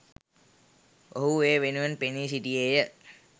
ඔහු එය වෙනුවෙන් පෙනී සිටියේය